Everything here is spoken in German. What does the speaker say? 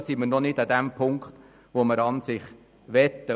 Diesbezüglich sind wir nicht am Punkt, wo wir sein möchten.